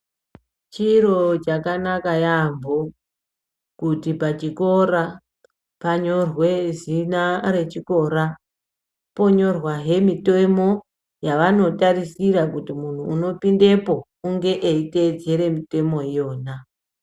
Chiro chakanaka yaambo kuti pachikora panyorwe zina rechikora, ponyorwazve mitemo yavanotarisira kuti muntu unopindepo enge eitevedzere mitemo yona.